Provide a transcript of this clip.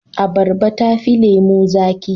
Abarba tafi lemo zaki.